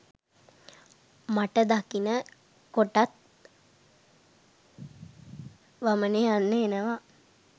මට දකින කොටත් වමනෙ යන්න එනවා.